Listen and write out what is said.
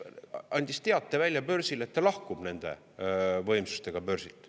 Andis teate välja börsil, et ta lahkub nende võimsustega börsilt.